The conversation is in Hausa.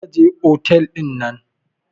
Kar ka je otel dinnan.